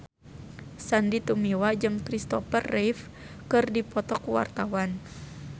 Sandy Tumiwa jeung Christopher Reeve keur dipoto ku wartawan